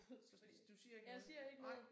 Så hvis du siger ikke noget nej